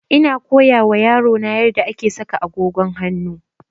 Ina koya wa yaro na yarda ake saka agogon hanu